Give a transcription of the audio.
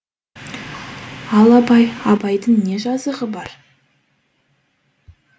ал абай абайдың не жазығы бар